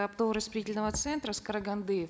оптово распределительного центра с караганды